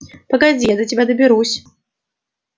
погоди я до тебя доберусь